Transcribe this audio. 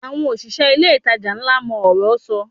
Àwọn òṣìṣẹ́ ilé-ìtajà ńlá mọ ọ̀rọ́ sọ